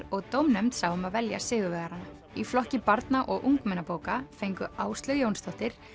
og dómnefnd sá um að velja sigurvegarana í flokki barna og ungmennabóka fengu Áslaug Jónsdóttir